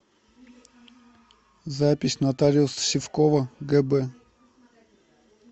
запись нотариус сивкова гб